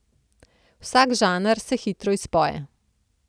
Vsak žanr se hitro izpoje.